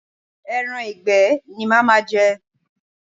Ẹran ìgbẹ́ ni màá ma je.